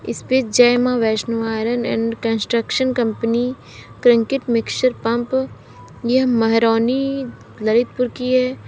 इसपे Jai Maa Vaishno iron and construction company concrete mixer pump यह महरौनी ललितपुर की है।